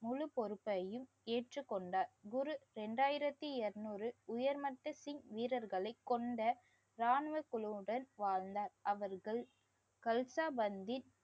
முழுபொறுப்பையும் ஏற்று கொண்டார். குரு இரண்டாயிரத்து இருநூறு உயர்மட்ட சிங் வீரர்களை கொண்ட ராணுவ குழுவுடன் வாழ்ந்தார். அவர்கள் கல்சாபண்தீர்